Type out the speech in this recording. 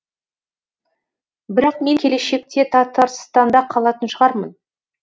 бірақ мен келешекте татарстанда қалатын шығармын